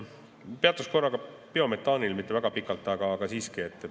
Peatun korra ka biometaanil, mitte väga pikalt, aga siiski.